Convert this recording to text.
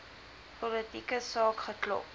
politieke saak geklop